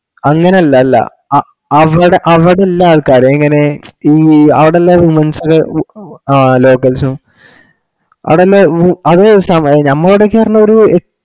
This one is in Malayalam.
അങ്ങനല്ല അല്ല അ അവിട അവട ഇല്ല ആള്ക്കാര് എങ്ങനെ അവിടല്ലേ womens ഒക്കെ ആ localshow ആടുള്ള വു അത്ഞ ചോയ്ച്ച മതി മ്മ അവിടേക് പറഞ്ഞ ഒര് എ